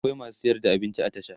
akwai masu sayar da abinci a tasha